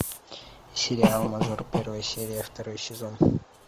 сериал мажор первая серия второй сезон